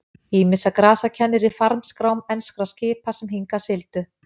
Ýmissa grasa kennir í farmskrám enskra skipa sem hingað sigldu.